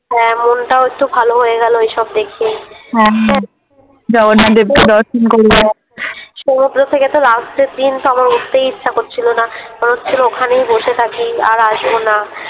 হ্যাঁ মনটাও একটু ভালো হয়ে গেল এইসব দেখে । হ্যাঁ জগন্নাথ দেবকে দর্শন কর সমুদ্রোর থেকে তো Last দিন তো আমার উঠতেই ইচ্ছা করছিলোনা, মনে হচ্ছিলো ওখানেই বসে থাকি আর আসবোনা।